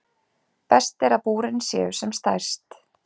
Best er að búrin séu sem stærst.